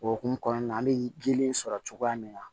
O hokumu kɔnɔna na an bɛ gelen sɔrɔ cogoya min na